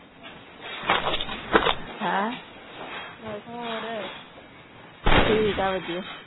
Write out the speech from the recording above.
ਹੈਂ ਠੀਕ ਆ ਵਧੀਆ।